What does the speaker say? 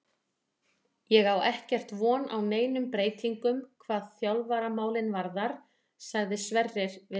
Ég á ekkert von á neinum breytingum hvað þjálfaramálin varðar, sagði Sverrir við Morgunblaðið.